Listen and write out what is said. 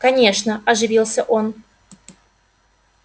конечно оживился он